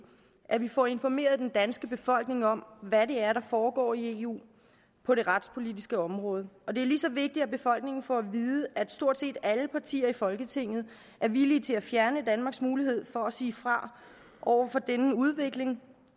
at vi får informeret den danske befolkning om hvad det er der foregår i eu på det retspolitiske område det er lige så vigtigt at befolkningen får at vide at stort set alle partier i folketinget er villige til at fjerne danmarks mulighed for at sige fra over for denne udvikling